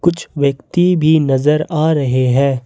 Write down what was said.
कुछ व्यक्ति भी नजर आ रहे हैं।